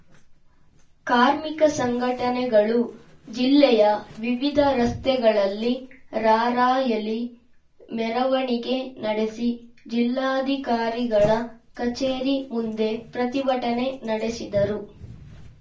ಕಾರ್ಮಿಕ ಸಂಘಟನೆಗಳು ಜಿಲ್ಲೆಯ ವಿವಿಧ ರಸ್ತೆಗಳಲ್ಲಿ ರಾರ‍ಯಲಿ ಮೆರವಣಿಗೆ ನಡೆಸಿ ಜಿಲ್ಲಾಧಿಕಾರಿಗಳ ಕಚೇರಿ ಮುಂದೆ ಪ್ರತಿಭಟನೆ ನಡೆಸಿದರು